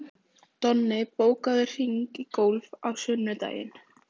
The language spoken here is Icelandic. Donni, bókaðu hring í golf á sunnudaginn.